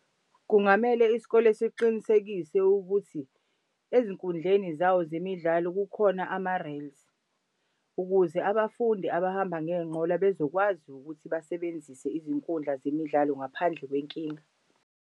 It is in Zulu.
Kungamele isikole siqinisekise ukuthi ezinkundleni zawo zemidlalo kukhona ama-rails ukuze abafundi abahamba ngey'nqola bezokwazi ukuthi basebenzise izinkundla zemidlalo ngaphandle kwenkinga.